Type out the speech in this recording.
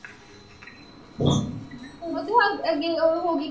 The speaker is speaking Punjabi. ਅੱਗੇ ਉਹ ਹੋ ਗਈ ਨਾ।